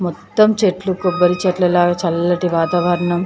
మొత్తం చెట్లు కొబ్బరి చెట్లు లాగా చల్లటి వాతావరణం.